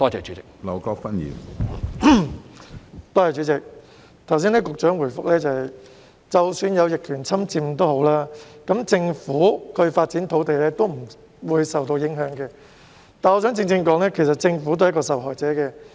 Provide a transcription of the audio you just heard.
主席，剛才局長的答覆說，即使有逆權侵佔，亦不會影響政府發展土地，但我想說的是，政府都是一個受害者。